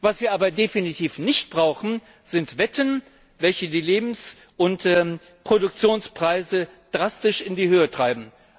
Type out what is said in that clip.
Was wir aber definitiv nicht brauchen, sind Wetten, welche die Lebensmittel und Produktionspreise drastisch in die Höhe treiben.